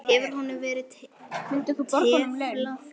Hefur honum verið teflt fram?